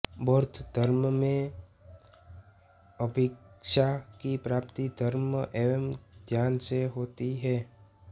बौद्ध धर्म में अभिज्ञा की प्राप्ति धर्म एवं ध्यान से होती है